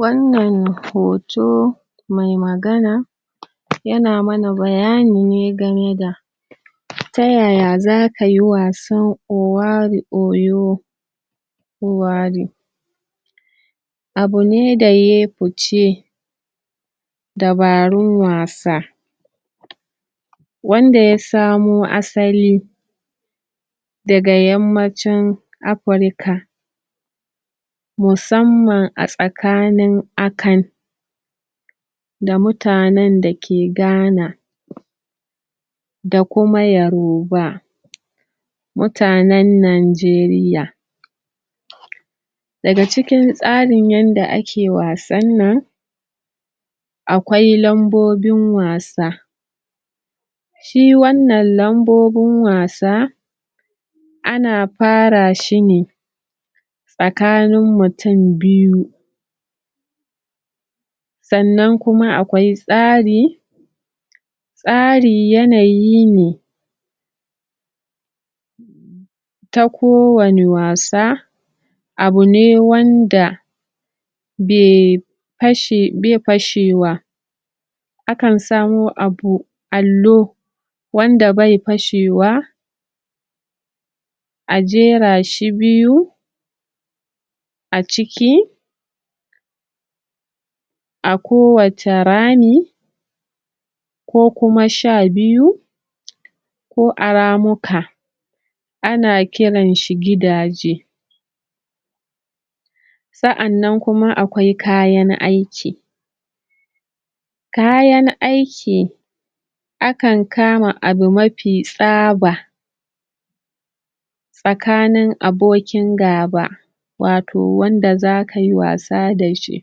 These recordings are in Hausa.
Wannan hoto mai magana yana mana bayani ne game da ta yaya za ka yi wasan Owari Oyo Owari. Abu ne da ya yi fice Dabarun wasa wanda ya samo asali daga Yammacin Afirka musamman a tsakanin Akan da mutanen da ke Ghana da kuma Yoruba mutanen Najeriya Daga cikin yadda ake wasan nan, akwai lambobin wasa. Shi wannan lambobin wasa, ana fara shi ne tsakanin mutum biyu sannan kum akwai tsari. Tsari yanayi ne ta kowane wasa abu ne wanda bai fashewa akan samo abu, allo wanda bai fashewa a jera shi biyu a ciki a kowace rami ko kuma sha biyu ko a ramuka. Ana kiran shi gidaje Sannan kuma akwai kayan aiki Kayan aiki akan kama abu mafi tsaba tsakanin abokin gaba watau wanda za ka yi wasa da shi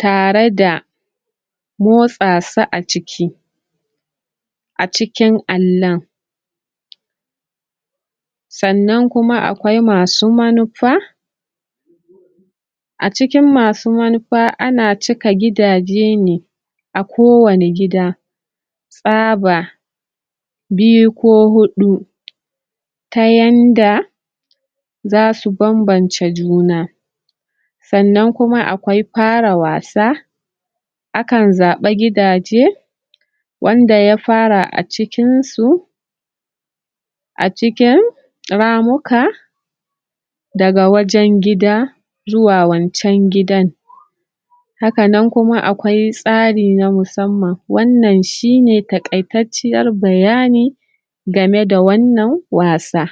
tare da motsa su a ciki a cikin allon. sannan kuma akwai masu manufa A cikin masu manufa, ana cika gidaje ne a kowane gida tsaba biyu ko huɗu ta yanda za su bambance juna sannan kuma akwai fara wasa Akan zaɓi gidaje wanda ya fara a cikinsu a cikin ramuka daga wajen gida zuwa wancan gidan. Haka nan kuma akwai tsari na musamman. Wannan shi ne taƙaitacciyar bayani game da wannan wasa.